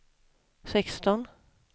sexton